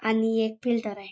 आणि एक फिल्टर आहे.